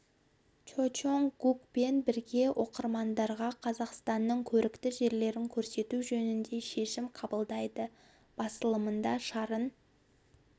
чо чонг гукпен бірге оқырмандарға қазақстанның көрікті жерлерін көрсету жөнінде шешім қабылдайды басылымында шарын